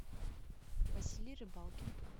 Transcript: василий рыбалкин